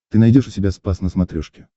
ты найдешь у себя спас на смотрешке